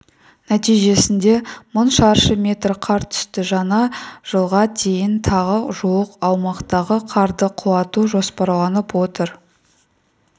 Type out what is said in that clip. нәтижесінде мың шаршы метр қар түсті жаңа жылға дейін тағы жуық аумақтағы қарды құлату жоспарланып отыр